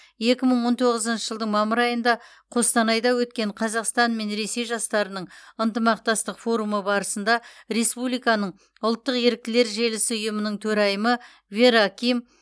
екі мың он тоғызыншы жылдың мамыр айында қостанайда өткен қазақстан мен ресей жастарының ынтымақтастық форумы барысында республиканың ұлттық еріктілер желісі ұйымының төрайымы вера ким